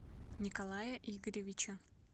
николая игоревича